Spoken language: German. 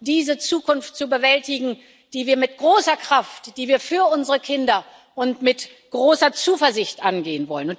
diese Zukunft zu bewältigen, die wir für unsere Kinder mit großer Kraft und mit großer Zuversicht angehen wollen.